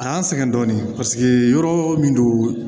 A y'an sɛgɛn dɔɔnin paseke yɔrɔ min don